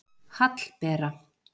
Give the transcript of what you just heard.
Hallbera